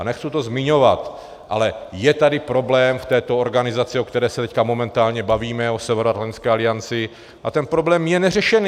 A nechci to zmiňovat, ale je tady problém v této organizaci, o které se teď momentálně bavíme, o Severoatlantické alianci, a ten problém je neřešený.